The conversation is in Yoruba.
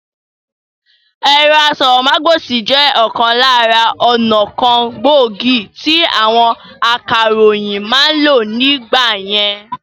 Ẹ̀rọ asọ̀rọ̀mágbèsì jẹ òkan lára ọnà kan gbòógì tí àwọn akàròyìn ma ń lò nígbà yẹn